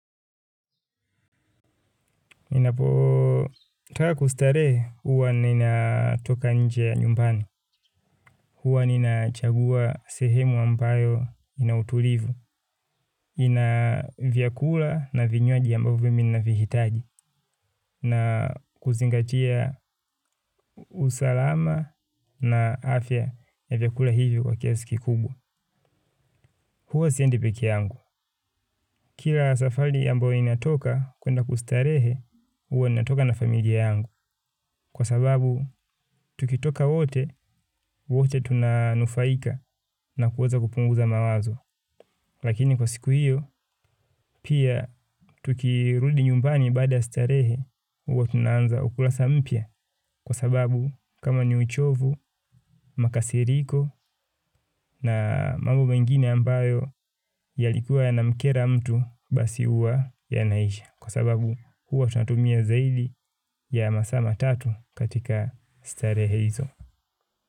Ninapotaka kustarehe huwa ninatoka nje ya nyumbani. Huwa ninachagua sehemu ambayo ina utulivu. Ina vyakula na vinywaji ambavyo mi ninavihitaji. Na kuzingatia usalama na afya ya vyakula hivyo kwa kiasi kikubwa. Huwa siendi peke yangu. Kila safari ambayo inatoka kwenda kustarehe huwa ninatoka na familia yangu. Kwa sababu, tukitoka wote, wote tunanufaika na kuweza kupunguza mawazo. Lakini kwa siku hiyo, pia tukirudi nyumbani baada ya starehe, huwa tunaanza ukulasa mpya. Kwa sababu, kama ni uchovu, makasiriko na mambo mengine ambayo yalikuwa yanamkera mtu basi huwa yanaisha. Kwa sababu, huwa tunatumia zaidi ya masaa matatu katika starehe hizo.